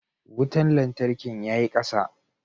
Wutan lantarkin ya yi kasa.